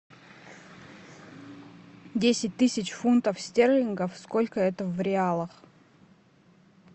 десять тысяч фунтов стерлингов сколько это в реалах